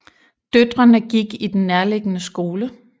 Døtrene gik i den nærliggende skole